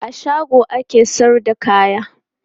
A shago ake sayar da kaya.